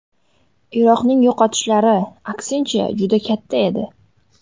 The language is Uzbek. Iroqning yo‘qotishlari, aksincha, juda katta edi.